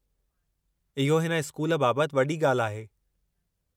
इहो हिन स्कूल बाबति वॾी ॻाल्हि आहे।